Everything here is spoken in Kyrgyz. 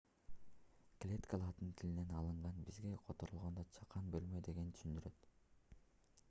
клетка латын тилинен алынган бизче которгондо чакан бөлмө дегенди түшүндүрөт